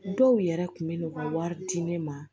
Dɔw yɛrɛ kun bɛ n'u ka wari di ne ma